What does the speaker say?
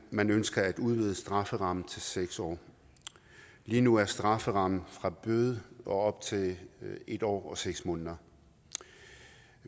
man ønsker at udvide strafferammen til seks år lige nu er strafferammen fra bøde og op til en år og seks måneder